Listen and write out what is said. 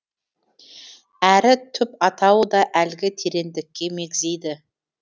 әрі түп атауы да әлгі тереңдікке мегзейді